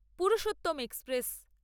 Purushottam express